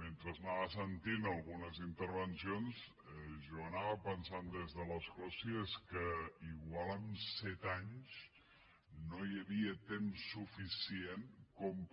mentre anava sentint algunes intervencions jo anava pensant des de l’escó si és que potser en set anys no hi havia temps suficient